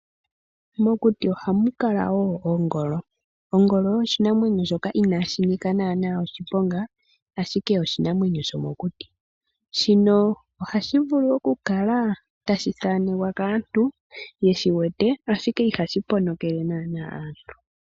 Mokuti ohamu kala woo oongolo. Ongolo osho oshinamwenyo shoka inashi nika naana oshiponga ashike oshinamwenyo shomokuti . Shino ohashi vulu okukala tashi thanekwa kaantu yeshiwete ashike ihashi ponokele aantu